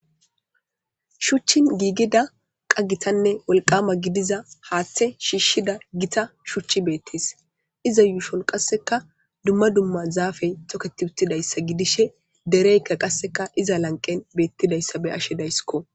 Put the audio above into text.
shuchchan giigida qas gitanne wolqama gidiza haaththe shiishshida gita shuchchi beettis iza yuushon qasseka dumma dumma zaafey toketi uttidayssa gidishe dereykka qasseka iza lanqen beettidayssa be ashe daysskko